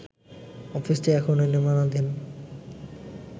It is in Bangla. অফিসটি এখনও নির্মাণাধীন